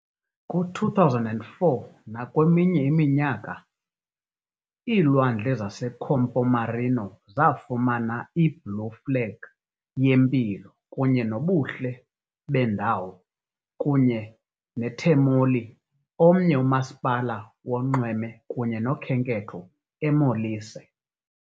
Kwi-2004 nakweminye iminyaka, iilwandle zaseCampomarino zafumana i-Blue Flag yempilo kunye nobuhle beendawo, kunye Termoli, omnye umasipala wonxweme kunye nokhenketho eMolise